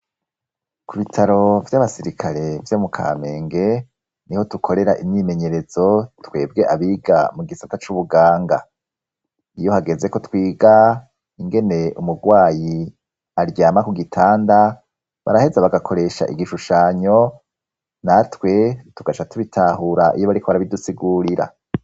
Ku bitaro by'abasirikare vyo mu kamenge, niho dukorera imyimenyerezo twebwe abiga mu gisata c'ubuganga. Iyo hageze ko twiga ingene umurwayi aryama ku gitanda baraheza bagakoresha igishushanyo natwe tugaca tubitahura iyo bariko barabidusigurira.